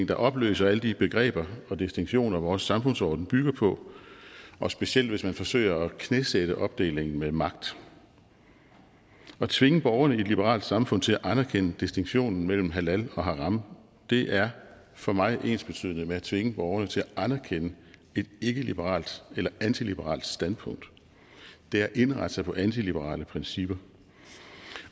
der opløser alle de begreber og distinktioner vores samfundsorden bygger på og specielt hvis man forsøger at knæsætte opdelingen med magt at tvinge borgerne i et liberalt samfund til at anerkende distinktionen mellem halal og haram er for mig ensbetydende med at tvinge borgerne til at anerkende et ikkeliberalt eller antiliberalt standpunkt det er at indrette sig på antiliberale principper